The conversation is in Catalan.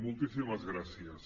moltíssimes gràcies